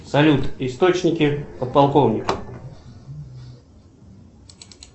салют источники подполковника